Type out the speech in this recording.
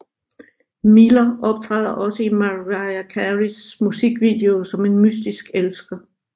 Miller optræder også i Mariah Careys musikvideoer som en mystisk elsker